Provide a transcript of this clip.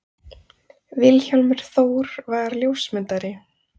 Vilhjálmur Þór var ljósmyndari.